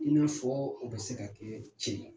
I min fɔ u bɛ se ka kɛ cɛn ye.